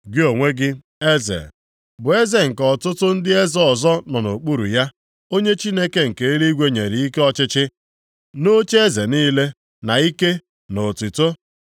Gị onwe gị, eze, bụ eze nke ọtụtụ ndị eze ọzọ nọ nʼokpuru ya, onye Chineke nke eluigwe nyere ike ọchịchị, nʼocheeze niile, na ike na otuto;